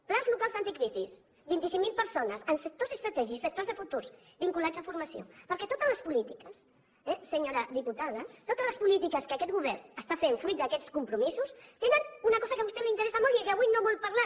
plans locals anticrisis vint cinc mil persones en sectors estratègics en sectors de futur vinculats a formació perquè totes les polítiques eh senyora diputada totes les polítiques que aquest govern està fent fruit d’aquests compromisos tenen una cosa que a vostè li interessa molt i que les quals avui no vol parlar